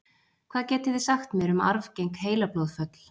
Hvað getið þið sagt mér um arfgeng heilablóðföll?